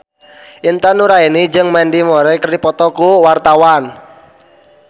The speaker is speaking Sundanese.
Intan Nuraini jeung Mandy Moore keur dipoto ku wartawan